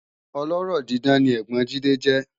Ọlọ́rọ̀ dídán ni ẹ́gbọ́n Jide jẹ́